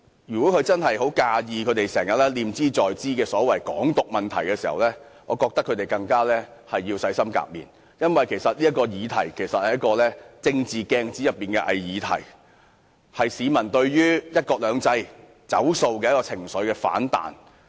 如果中央真的很介意他們念茲在茲的所謂"港獨"問題，他們更應洗心革面，因為這問題其實是政治鏡子內的偽議題，是市民對"一國兩制"不兌現的情緒反彈。